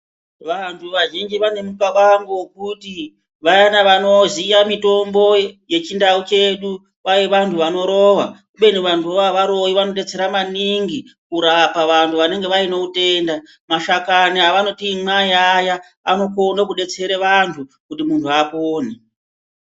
Vanhu vazhinji vane mukabango wekuti vayana vano ziya mitombo yechi ndau chedu kwai vantu vano rova kubeni vantu vo avaroi vano detsera maningi kurapa vantu vanenge vaine utenda mashakani avanoti imwai aya ano kone ku detsere vantu kuti muntu apone.